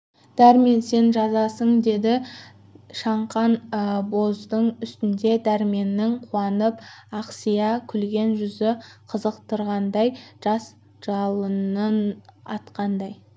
дәрмен сен жазасың деді шаңқан боздың үстінде дәрменнің қуанып ақсия күлген жүзі қызықтырғандай жас жалынын атқандай